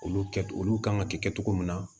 Olu kɛ olu kan ka kɛ cogo min na